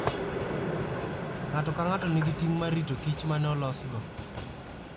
Ng'ato ka ng'ato nigi ting' mar rito kich ma ne olosgo.